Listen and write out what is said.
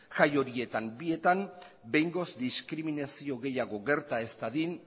jai horietan bietan behingoz diskriminazio gehiago gerta ez dadin